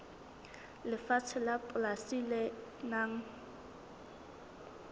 lefatshe la polasi le nang